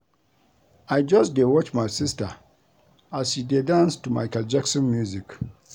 I just dey watch my sister as she dey dance to Micheal Jackson music